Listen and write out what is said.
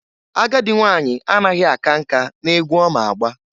Agadị nwanyị anaghi aka nka na-egwu ọma agba.